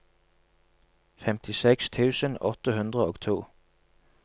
femtiseks tusen åtte hundre og to